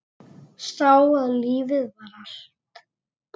Sá að lífið var allt.